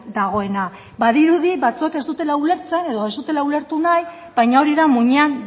dagoena badirudi batzuek ez dutela ulertzen edo ez dutela ulertu nahi baina hori da muinean